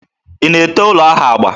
Ị na-ete ụlọ ahụ agba?